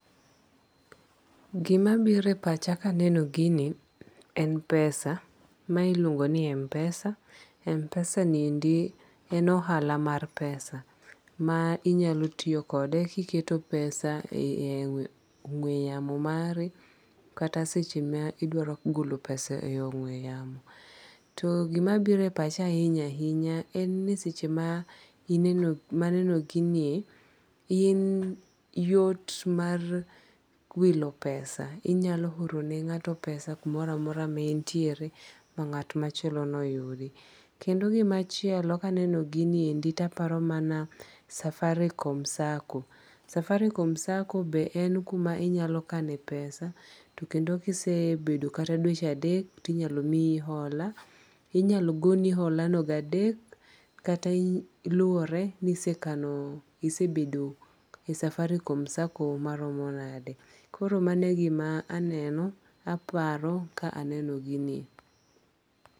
Gimabiro e pacha ka aneno ginie en pesa, mae iluongo ni MPESA , MPESA ni endi en ohala mar pesa ma inyalo tiyo kode ma kiketo pesani e ongwe yamo mari kata seche ma idwaro golo pesa e gweyano to gimabiro e pacha ahinya ahinya en ni seche maneno ginie en yot mar wilo pesa inyalo orone ngato pesa kumoro amora ma enitire ma nga't machielono yudi, kendo gimachielo kaneno giniendi to aparo mana safaricom sacco, Safaricom sacco ba en kuma inyalo kane pesa to kendo ka isebedo kata mana dweche adek to inyalo miyi hola, inyalo goni holano di adek kata liwore ni isekano isebedo e Safaricom sacco maromo nade, koro mano e gima aneno aparo ka aneno ginie